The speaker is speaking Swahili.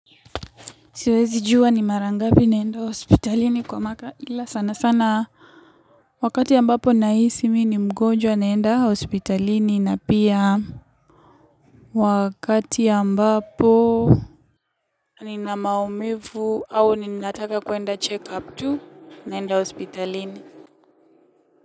Siwezi jua ni marangapi naenda hospitalini kwa mwaka ila sana sana. Wakati ambapo nahisi mi ni mgonjwa naenda hospitalini na pia. Wakati ambapo. Ni na maumivu au ninataka kuenda check up tu naenda hospitalini.